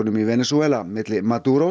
í Venesúela milli